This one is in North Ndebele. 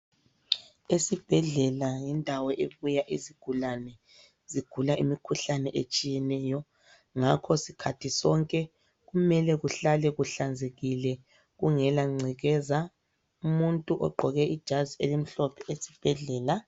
Esibhedlela yindawo ebuya izigulane zigula imikhuhlane etshiyeneyo, ngakho sikhathi sonke kumele kuhlale kuhlanzekile kungela ngcekeza. Umuntu ogqoke ijazi elimhlophe esibhedlela.